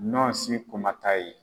Ɲɔsi kumata ye.